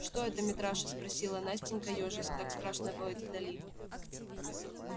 что это митраша спросила настенька ёжась так страшно воет вдали